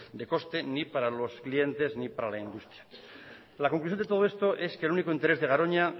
de coste ni para los clientes ni para la industria la conclusión de todo esto es que el único interés de garoña